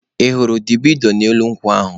Ị hụrụ dabino n'elu ukwu ya?